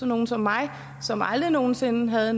nogle som mig som aldrig nogen sinde havde